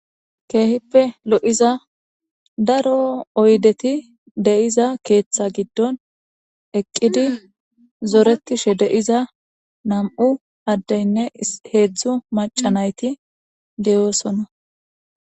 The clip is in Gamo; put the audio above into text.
keehippe lo7iza daro oydeti deyiza keeththa giddon eqqidi zoretishe deiza nam7u addeynne heedzdzu maca nayti deyoosonna